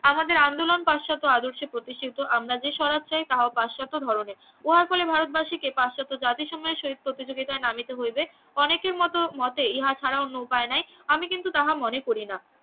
আমাদের আন্দোলন পাশ্চাত্য আদর্শে প্রতিষ্ঠিত আমরা যে স্বরাজ তাই তাহাও পাশ্চাত্য ধরনের উহার ফলে ভারতবাসীকে পাশ্চাত্য জাতির সঙ্গে শহীদ প্রতিযোগিতায় নামিতে হইবে অনেকের মত মতে ইহা ছাড়া অন্য উপায় নাই আমি কিন্তু তাহা মনে করিনা